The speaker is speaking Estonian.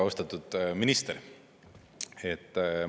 Austatud minister!